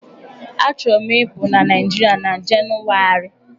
Achọrọ m ịpụ na Naịjiịrịa na Jenụwarị.